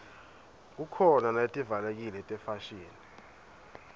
khukhona naletivalekile tefashini